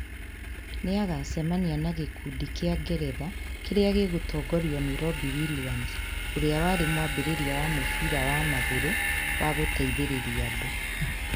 Nĩ agaacemania na gĩkundi kĩa Ngeretha kĩrĩa gĩgũtongorio nĩ Robbie Williams, ũrĩa warĩ mwambĩrĩria wa mũbira wa magũrũ wa gũteithĩrĩria andũ.